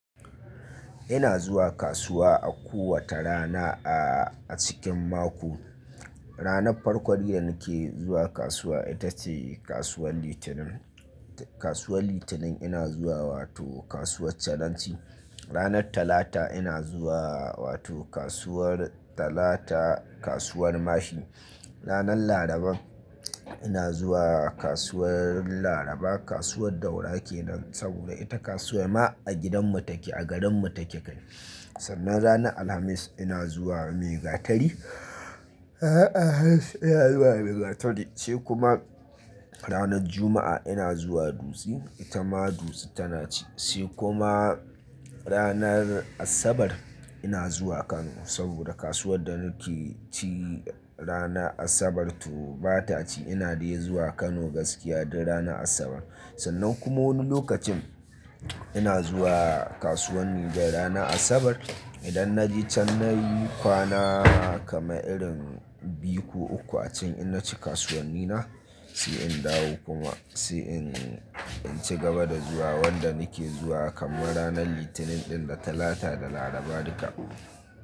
Ina zuwa kasuwa a kowace rana a cikin mako. Ranar farko dai nake zuwa kasuwa ita ce kasuwar Litinin. Kasuwar Litinin ina zuwa wato kasuwar Caranci. Ranar Talata ina zuwa wato kasuwar Talata, kasuwar Mashi. Ranar Laraba ina zuwa kasuwar Laraba, kasuwar Daura kenan saboda ita kasuwar ma a gidanmu take a garinmu take kai. Sannan ranar Alhamis ina zuwa Megatari, ina zuwa Megatari sai kuma ranar Juma'a ina zuwa Dutsi, ita ma Dutsi tana ci. Sai kuma ranar Asabar ina zuwa Kano saboda kasuwar da nake ci ranar Asabar to ba ta ci, ina dai zuwa Kano gaskiya duk ranar Asabar. Sannan kuma wani lokacin ina zuwa kasuwar Nijar ranar Asabar. Idan na je can nayi kwana kama irin biyu ko uku a can in na ci kasuwanni na sai in dawo kuma sai in ci gaba da zuwa wanda nake zuwa kamar ranar Litinin ɗin da Talata da Laraba duka.